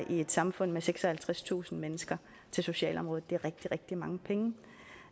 i et samfund med seksoghalvtredstusind mennesker til socialområdet